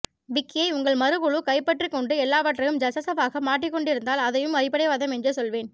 விக்கியை உங்கள் மறுகுழு கைப்பற்றிக்கொண்டு எல்லாவற்றையும் ஜஸஷவாக மாற்றிக்கொண்டிருந்தால் அதையும் அடிப்படைவாதம் என்றே சொல்வேன்